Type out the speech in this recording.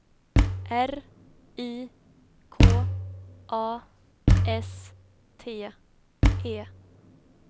R I K A S T E